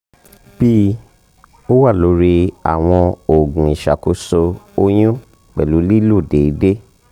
bi: -o wa lori awọn oogun iṣakoso oyun pẹlu lilo deede